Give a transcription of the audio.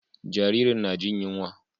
Jaririn na jin yunwa.